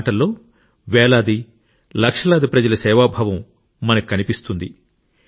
ఈ మాటల్లో వేలాది లక్షలాది ప్రజల సేవాభావం మనకు కనిపిస్తుంది